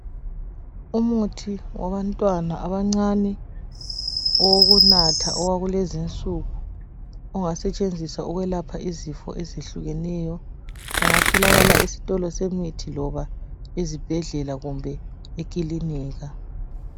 Umuthi wabantwana abancane owokunatha owakulezinsuku . Ongasetshenziswa ukwelapha izifo ezitshiyeneyo. Ungatholakala esitolo semithi loba esibhedlela kumbe emakilinika .